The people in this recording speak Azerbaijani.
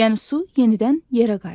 Yəni su yenidən yerə qayıdır.